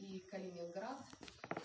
калининград